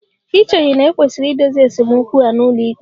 Ì cheghị na e kwesịrị idozi esemokwu a n'ụlọikpe?